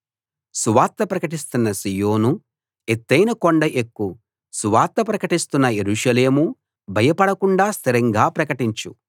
సువార్త ప్రకటిస్తున్న సీయోనూ ఎత్తయిన కొండ ఎక్కు సువార్త ప్రకటిస్తున్న యెరూషలేమూ భయపడకుండా స్థిరంగా ప్రకటించు ఇదిగో మీ దేవుడు అని యూదా పట్టణాలకు ప్రకటించు